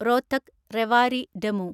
Rohtak Rewari DEMU